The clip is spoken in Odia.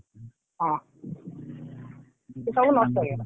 ହଁ ସେ ସବୁ ନଷ୍ଟ ହେଇଗଲା।